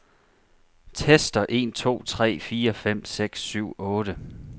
Tester en to tre fire fem seks syv otte.